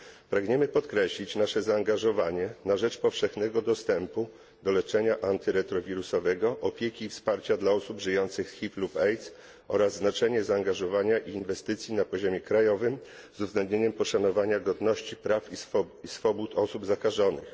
Pragniemy podkreślić nasze zaangażowanie na rzecz powszechnego dostępu do leczenia antyretrowirusowego, opieki i wsparcia dla osób żyjących z HIV lub AIDS oraz znaczenie zaangażowania i inwestycji na poziomie krajowym z uwzględnieniem poszanowania godności, praw i swobód osób zakażonych.